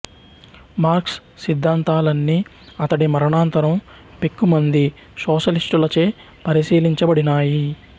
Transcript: marks సిద్ధాంతాలన్నీ అతడి మరణానంతరం పెక్కు మంది సోషలిష్టులచే పరిశీలించబడినాయి